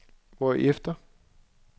hvorefter